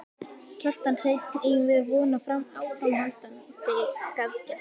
Kjartan Hreinn: Eigum við von á áframhaldandi aðgerðum?